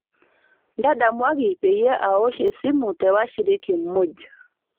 ntadamuaki peyie aosh esimu te washiriki muuj